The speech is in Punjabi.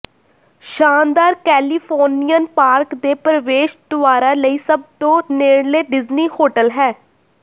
ਸ਼ਾਨਦਾਰ ਕੈਲੀਫੋਰਨੀਅਨ ਪਾਰਕ ਦੇ ਪ੍ਰਵੇਸ਼ ਦੁਆਰਾਂ ਲਈ ਸਭ ਤੋਂ ਨੇੜਲੇ ਡਿਜ਼ਨੀ ਹੋਟਲ ਹੈ